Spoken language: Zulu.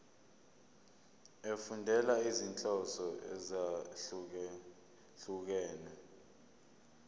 efundela izinhloso ezahlukehlukene